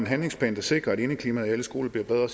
handlingsplan der sikrer at indeklimaet i alle skoler bliver bedre